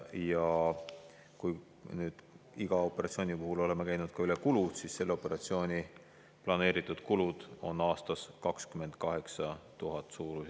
Ja kui me iga operatsiooni puhul oleme ka kulud üle käinud, siis selle operatsiooni planeeritud kulud on aastas suurusjärgus 28 000 eurot.